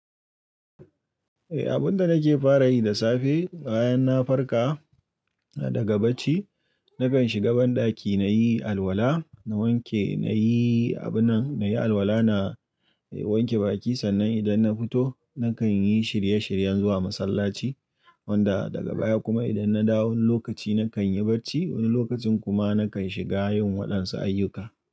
Eh, abun da nake fara yi da safe bayan na farka daga bacci, nakan shiga banɗaki na yi alwala, na wanke, na yi abunan, na yi alwala, na wanke baki. Sannan idan na fito nakan yi shirye-shiryen zuwa masallaci wanda daga baya kuma idan na dawo wani lokaci nakan yi bacci, wani lokacin kuma nakan shiga yin waɗansu ayyuka.